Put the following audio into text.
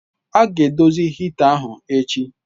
A ga-edozi hita ahụ echi.